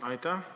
Aitäh!